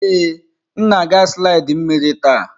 Ee, m na-aga slidi mmiri taa.